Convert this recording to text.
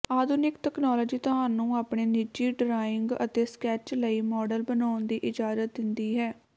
ਆਧੁਨਿਕ ਤਕਨਾਲੋਜੀ ਤੁਹਾਨੂੰ ਆਪਣੇ ਨਿੱਜੀ ਡਰਾਇੰਗ ਅਤੇ ਸਕੈਚ ਲਈ ਮਾਡਲ ਬਣਾਉਣ ਦੀ ਇਜਾਜ਼ਤ ਦਿੰਦੀ ਹੈ